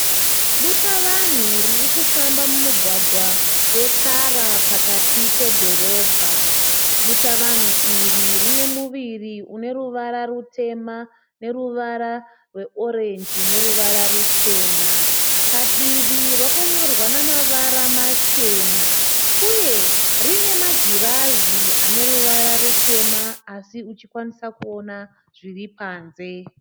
Dutavanhu ririkufamba mumugwagwa wetara pakati pedhorobha. Dutavanhu iri rine muviri une ruvara rutema neruvara rweorenji neruvara rucheña. Padivi rakanyorwa namavara machena. Uye rine magirazi ane ruvara rutema asi uchikwanisa kuona zviripanze.